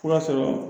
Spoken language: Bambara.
Fura sɔrɔ